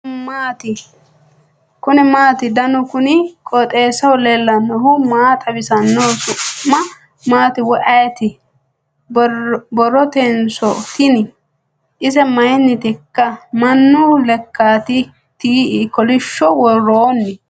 kuni maati ? danu kuni qooxeessaho leellannohu maa xawisanno su'mu maati woy ayeti ? borrrotenso tini ? ise mayinniteikk ? mannu lekkaati tii kolishsho woroonni ?